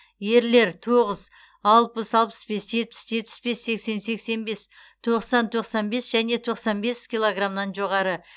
ерлер тоғыз алпыс алпыс бес жетпіс жетпіс бес сексен сексен бес тоқсан тоқсан бес және тоқсан бес килограммнан жоғары